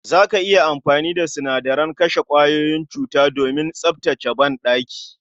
Za ka iya amfani da sinadaren kashe kwayoyin cutuka domin tsaftace banɗaki